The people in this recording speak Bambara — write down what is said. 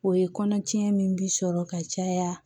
O ye kɔnɔ cɛn min bi sɔrɔ ka caya